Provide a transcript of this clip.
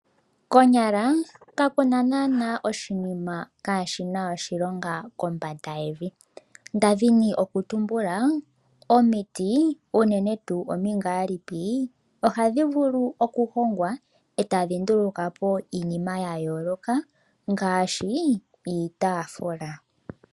Konyaka kakuna nana oshinima kaashina oshilonga kombanda yevi, ndadhini okutumbula omiti unene tuu omingaalipi ohadhi vulu okuhongwa etadhi ndulukapo iinima yayooloka ngaashi iitaafula.